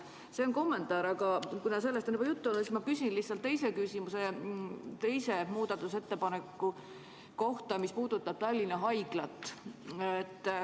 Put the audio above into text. See on kommentaar, aga kuna sellest on juba juttu olnud, siis ma küsin teise küsimuse muudatusettepaneku kohta, mis puudutab Tallinna Haiglat.